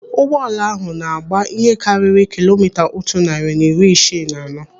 Ụgbọala ahụ na-agba ihe karịrị kilomita otu narị na iri isii na anọ.